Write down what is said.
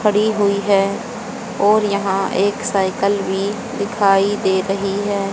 पड़ी हुई है और यहां एक साइकिल भी दिखाई दे रही है।